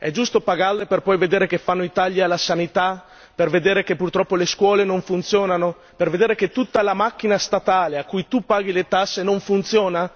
È giusto pagarle per poi vedere che fanno i tagli alla sanità, per vedere che purtroppo le scuole non funzionano, per vedere che tutta la macchina statale, a cui tu paghi le tasse, non funziona?